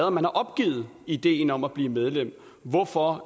at man har opgivet ideen om at blive medlem hvorfor